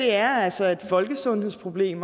er altså et folkesundhedsproblem